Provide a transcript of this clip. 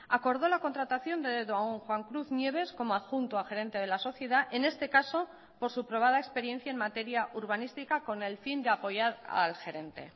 acordó la contratación de don juan cruz nieves como adjunto a gerente de la sociedad en este caso por su probada experiencia en materia urbanística con el fin de apoyar al gerente